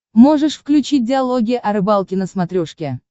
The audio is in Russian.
можешь включить диалоги о рыбалке на смотрешке